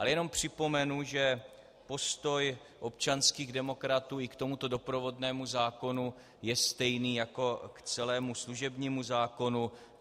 Ale jenom připomenu, že postoj občanských demokratů i k tomuto doprovodnému zákonu je stejný jako k celému služebnímu zákonu.